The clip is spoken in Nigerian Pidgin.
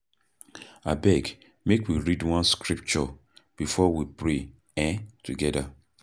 Abeg, make we read one scripture before we pray um togeda.